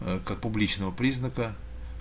ээ как публичного признака